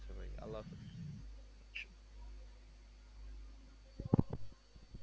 আচ্ছা ভাই আল্লাহ হাফেজ